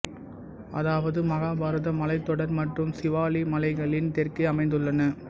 அதாவது மகாபாரத மலைத்தொடர் மற்றும் சிவாலிக் மலைகளின் தெற்கே அமைந்துள்ளன